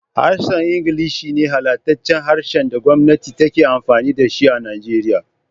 Harshen Ingilishi ne halattaccen harshen da gwamati take amfini da shi a Nigeria.